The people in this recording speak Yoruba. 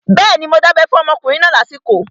Bẹ́ẹ̀ni, mo dábẹ́ fún ọmọkùnrin náà lásìkò